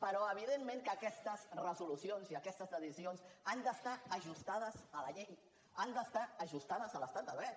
però evidentment aquestes resolucions i aquestes decisions han d’estar ajustades a la llei han d’estar ajustades a l’estat de dret